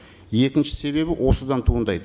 екінші себебі осыдан туындайды